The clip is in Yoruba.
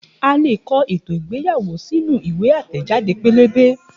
A leè kọ ètò ìgbéyàwó sínú ìwé àtẹẹ̀jáde pẹ́lẹ́bẹ́